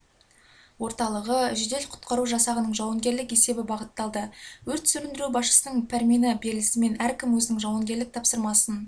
орталығы жедел-құтқару жасағының жауынгерлік есебі бағытталды өрт сөндіру басшысының пәрмені берілісімен әркім өзінің жауынгерлік тапсырмасын